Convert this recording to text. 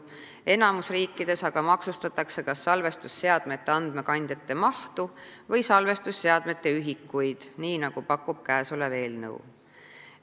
Enamikus riikides aga maksustatakse kas salvestusseadmete andmekandjate mahtu või salvestusseadmete ühikuid – nii, nagu pakub käesolev eelnõu.